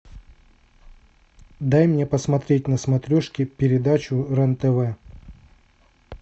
дай мне посмотреть на смотрешке передачу рен тв